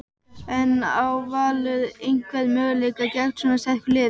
En á Valur einhvern möguleika gegn svona sterku liði?